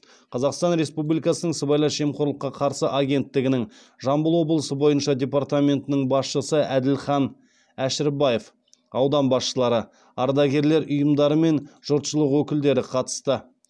қазақстан республикасының сыбайлас жемқорлыққа қарсы агенттігінің жамбыл облысы бойынша департаментінің басшысы әділхан әшірбаев аудан басшылары ардагерлер ұйымдары мен жұртшылық өкілдері қатысты